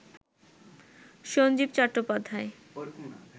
Sanjeev Chattopadhyay